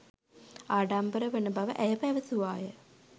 ආඩම්බර වන බව ඇය පැවසුවාය